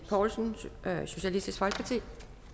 poulsen socialistisk folkeparti